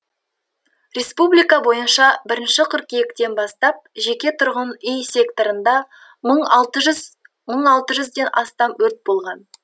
республика бойынша бірінші қыркүйектен бастап жеке тұрғын үй секторында мың алты жүз мың алты жүзден астам өрт болған